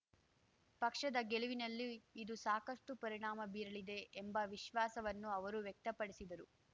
ಪಕ್ಷದ ಗೆಲುವಿನಲ್ಲೂ ಇದು ಸಾಕಷ್ಟುಪರಿಣಾಮ ಬೀರಲಿದೆ ಎಂಬ ವಿಶ್ವಾಸವನ್ನು ಅವರು ವ್ಯಕ್ತಪಡಿಸಿದರು